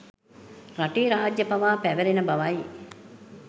රටේ රාජ්‍ය පවා පැවැරෙන බවයි.